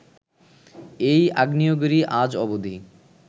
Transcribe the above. এই আগ্নেয়গিরি আজ অবধি